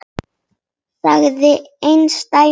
Sagði engin dæmi þess.